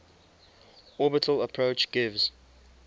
orbital approach gives